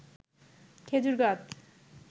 খেজুর গাছ